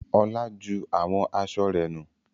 Olá ju àwọn aṣọ rẹ̀ nù.